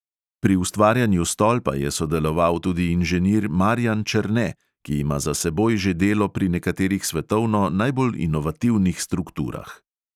Pri ustvarjanju stolpa je sodeloval tudi inženir marijan černe, ki ima za seboj že delo pri nekaterih svetovno najbolj inovativnih strukturah.